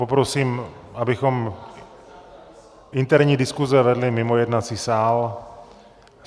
Poprosím, abychom interní diskuse vedli mimo jednací sál.